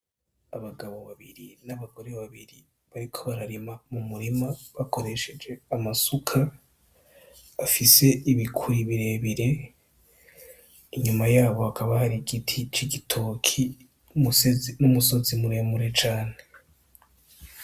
Abagabo babiri n' abagore babiri bariko bararima mumurima bakoresheje amasuka afise ibikwi bire bire inyuma yaho hakaba hari igiti c'igitoki kire kire n' umusozi mure mure cane.